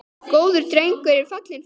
Góður drengur er fallinn frá.